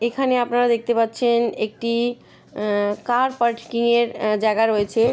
এখানে আপনারা দেখতে পাচ্ছেন একটি উম কার পার্কিং -এর জায়গা রয়েছে।